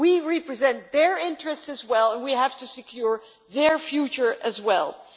We represent their interests as well and we have to secure their future, too.